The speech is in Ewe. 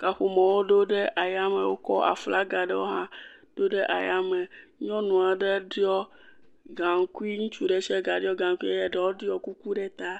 kaƒomɔwo ɖo ɖe ayame, wokɔ aflagi aɖewo hã ɖo ɖe ayame. Nyɔnu aɖe ɖɔ gaŋkui ŋutsu ɖe sia ɖe ɖɔ gaŋkui ye aɖewo ɖɔ kuku ɖe ta.